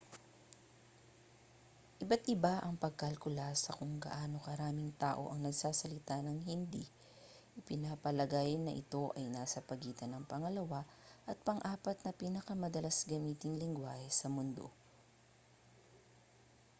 iba't iba ang pagkalkula sa kung gaano karaming tao ang nagsasalita ng hindi ipinapalagay na ito ay nasa pagitan ng pangalawa at pang-apat na pinakamadalas gamiting lengguwahe sa mundo